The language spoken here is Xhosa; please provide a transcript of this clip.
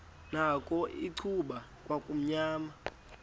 nakho icuba kwakumnyama